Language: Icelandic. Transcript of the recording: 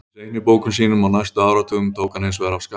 Í seinni bókum sínum á næstu áratugum tók hann hins vegar af skarið.